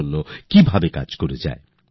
innovative কিছু করছেন